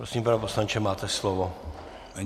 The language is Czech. Prosím, pane poslanče, máte slovo.